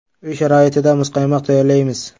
Uy sharoitida muzqaymoq tayyorlaymiz.